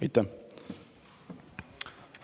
Aitäh!